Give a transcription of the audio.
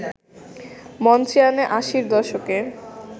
মঞ্চে আনে আশির দশকে